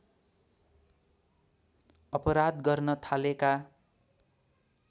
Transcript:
अपराध गर्न थालेका